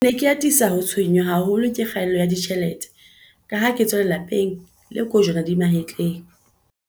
"Ke ne ke atisa ho tshwe-nngwa haholo ke kgaello ya ditjhelete kaha ke tswa lelape ng le kojwana di mahetleng."